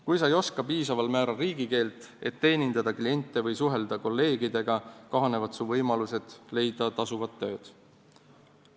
Kui sa ei oska piisaval määral riigikeelt, et teenindada kliente või suhelda kolleegidega, kahanevad su võimalused leida tasuvat tööd.